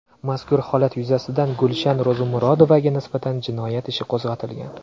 Mazkur holat yuzasidan Gulshan Ro‘zimurodovaga nisbatan jinoyat ishi qo‘zg‘atilgan.